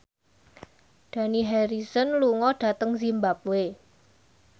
Dani Harrison lunga dhateng zimbabwe